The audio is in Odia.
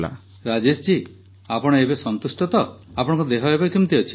ରାଜେଶ ଜୀ ଆପଣ ଏବେ ସନ୍ତୁଷ୍ଟ ତ ଆପଣଙ୍କ ଦେହ ଏବେ କେମିତି ଅଛି